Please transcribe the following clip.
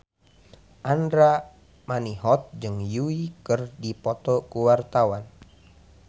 Andra Manihot jeung Yui keur dipoto ku wartawan